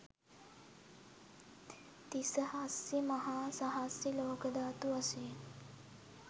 තිසහස්සි මහා සහස්සි ලෝක ධාතු වශයෙන්